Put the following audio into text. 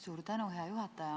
Suur tänu, hea juhataja!